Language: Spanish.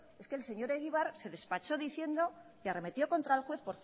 es que el señor egibar se despachó diciendo y arremetió contra el juez